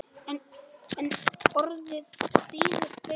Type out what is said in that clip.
En orðið þýðir fleira.